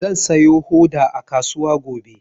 Zan sayo hoda a kasuwa gobe.